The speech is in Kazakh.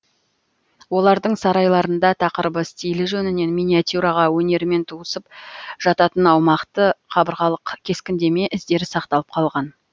олардың сарайларында тақырыбы стилі жөнінен миниатюра өнерімен туысып жататын аумақты қабырғалық кескіндеме іздері сақталып қалған